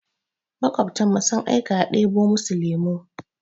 Maƙwabtanmu sun aika a ɗebo musu lemu.